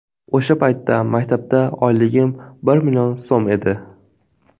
O‘sha paytda maktabda oyligim bir million so‘m edi.